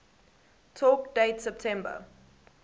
talk date september